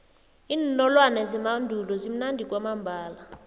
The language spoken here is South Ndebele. iinolwana zemandulo zimnandi kwamambala